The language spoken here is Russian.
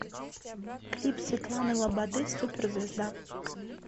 клип светланы лободы суперзвезда